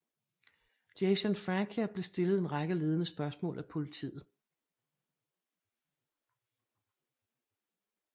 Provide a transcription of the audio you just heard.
Jason Francia blev stillet en række ledende spørgsmål af politiet